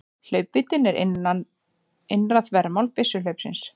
Hlaupvíddin er innra þvermál byssuhlaupsins.